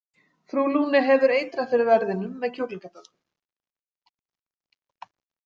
Frú Lune hefur eitrað fyrir verðinum með kjúklingaböku.